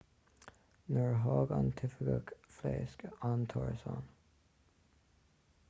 nuair a tháinig an t-oifigeach phléasc an t-árasán